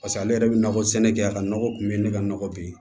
Paseke ale yɛrɛ bɛ nakɔ sɛnɛ kɛ a ka nɔgɔ kun bɛ ne ka nɔgɔ bɛ ye